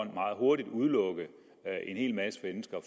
meget hurtigt udelukke en hel masse mennesker